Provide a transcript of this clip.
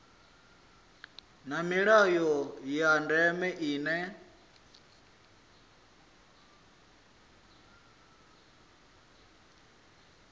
na milayo ya ndeme ine